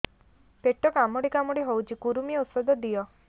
ପେଟ କାମୁଡି କାମୁଡି ହଉଚି କୂର୍ମୀ ଔଷଧ ଦିଅ